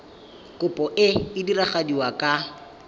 kopo e e diragadiwa ka